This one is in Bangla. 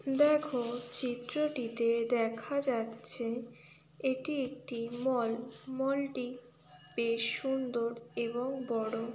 দেখো চিত্রটিতে দেখা যাচ্ছে এটি একটি মল মল টি বেশ সুন্দর এবং বড়।